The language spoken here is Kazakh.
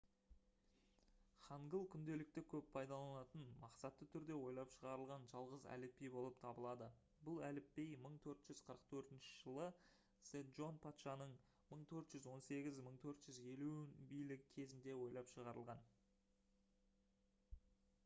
хангыл күнделікті көп пайдаланылатын мақсатты түрде ойлап шығарылған жалғыз әліпби болып табылады бұл әліпби 1444 жылы седжон патшаның 1418 – 1450 билігі кезінде ойлап шығарылған